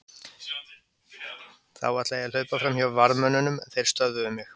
Þá ætlaði ég að hlaupa fram hjá varðmönnunum en þeir stöðvuðu mig.